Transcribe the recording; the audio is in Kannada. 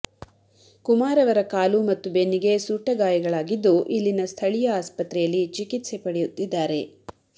ಕುಮಾರ್ ಅವರ ಕಾಲು ಮತ್ತು ಬೆನ್ನಿಗೆ ಸುಟ್ಟ ಗಾಯಗಳಾಗಿದ್ದು ಇಲ್ಲಿನ ಸ್ಥಳೀಯ ಆಸ್ಪತ್ರೆಯಲ್ಲಿ ಚಿಕಿತ್ಸೆ ಪಡೆಯುತ್ತಿದ್ದಾರೆ